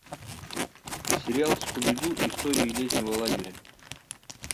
сериал скуби ду истории летнего лагеря